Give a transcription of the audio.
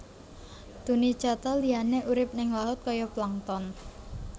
Tunicata liyané urip ning laut kaya plankton